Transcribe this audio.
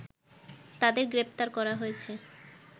তাদের গ্রেপ্তার করা হয়েছে